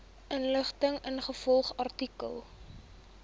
inligting ingevolge artikel